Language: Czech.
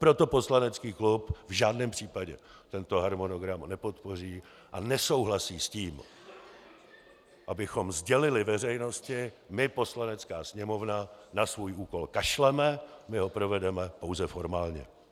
Proto poslanecký klub v žádném případě tento harmonogram nepodpoří a nesouhlasí s tím, abychom sdělili veřejnosti: My, Poslanecká sněmovna, na svůj úkol kašleme, my ho provedeme pouze formálně.